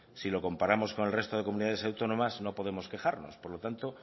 si lo comparamos con el resto de comunidades autónomas no podemos quejarnos por lo tanto